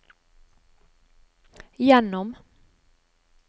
gjennom